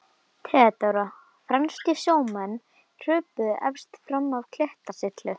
THEODÓRA: Franskir sjómenn hröpuðu efst fram af klettasyllu.